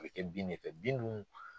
A bɛ kɛ bin de fɛ, bin duun